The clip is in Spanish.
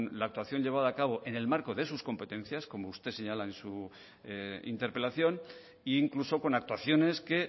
la actuación llevada a cabo en el marco de sus competencias como usted señala en su interpelación e incluso con actuaciones que